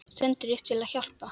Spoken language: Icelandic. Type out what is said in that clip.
Stendur upp til að hjálpa.